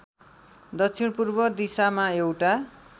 दक्षिणपूर्व दिशामा एउटा